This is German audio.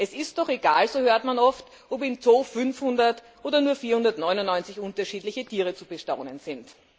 Es sei doch egal so hört man oft ob im Zoo 500 oder nur 499 unterschiedliche Tiere zu bestaunen sind.